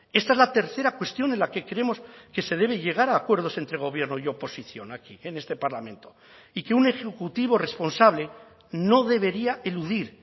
esta es la tercera cuestión en la que creemos que se debe llegar a acuerdos entre gobierno y oposición aquí en este parlamento y que un ejecutivo responsable no debería eludir